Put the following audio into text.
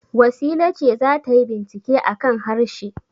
Wasila ce za ta yi bincike a kan harshe.